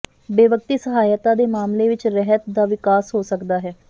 ਬੇਵਕਤੀ ਸਹਾਇਤਾ ਦੇ ਮਾਮਲੇ ਵਿਚ ਰਹਿਤ ਦਾ ਵਿਕਾਸ ਹੋ ਸਕਦਾ ਹੈ